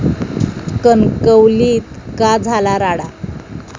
कणकवलीत का झाला राडा?